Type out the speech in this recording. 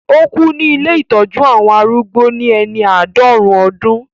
Ó kú ní ilé ìtọ́jú àwọn arúgbó ní ẹni àádọ́rùn-ún ọdún